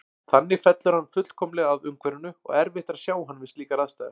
Þannig fellur hann fullkomlega að umhverfinu og erfitt er að sjá hann við slíkar aðstæður.